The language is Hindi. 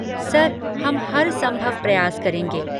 सर, हम हरसंभव प्रयास करेंगे।